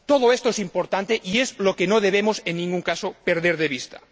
Todo esto es importante y es lo que no debemos en ningún caso perder de vista.